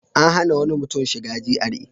An hana wani mutum shiga GRA.